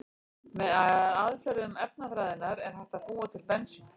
Með aðferðum efnafræðinnar er hægt að búa til bensín.